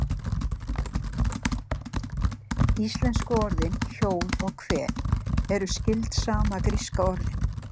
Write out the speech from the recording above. íslensku orðin hjól og hvel eru skyld sama gríska orðinu